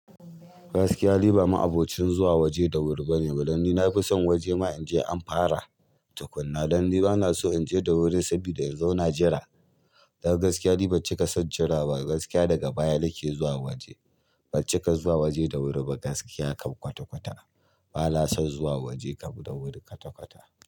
Gaskiya ni ba ma abocin zuwa waje da wuri bane. Dan ni na fi son waje ma in je an fara tukuna. Dan ni bana so in je da wuri saboda in zauna jira. Don gaskiya ni ban cika san jira ba. Gaskiya daga baya nake zuwa waje. Ban cika zuwa waje da wuri ba gaskiya ka kwata-kwata. Bana son zuwa waje kam da wuri kwata-kwata.